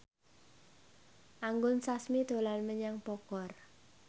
Anggun Sasmi dolan menyang Bogor